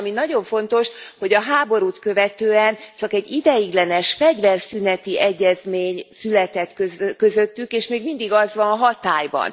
És ami nagyon fontos, hogy a háborút követően csak egy ideiglenes fegyverszüneti egyezmény született közöttük, és még mindig az van hatályban.